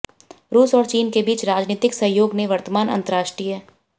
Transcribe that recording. रूस और चीन के बीच राजनीतिक सहयोग ने वर्तमान अंतर्राष्ट्रीय